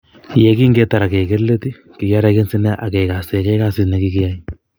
yegingetar ak keger leet kigiaragense nea ak kigasegei kasit negigia